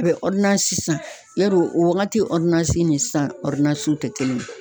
A be san. Yarɔ o wagati nin sisan te kelen ye.